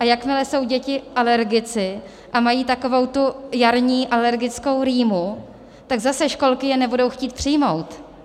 A jakmile jsou děti alergici a mají takovou tu jarní alergickou rýmu, tak zase školky je nebudou chtít přijmout.